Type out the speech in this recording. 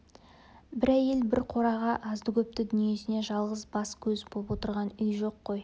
бір әйел бір қораға азды-көпті дүниесіне жалғыз бас-көз боп отырған үй жоқ қой